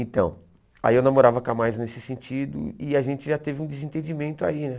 Então, aí eu namorava com a Maisa nesse sentido e a gente já teve um desentendimento aí, né?